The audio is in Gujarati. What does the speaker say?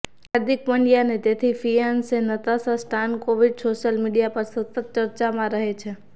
હાર્દિક પંડ્યા અને તેની fiancee Natasha Stankovic social media પર સતત ચર્ચામાં રહે છે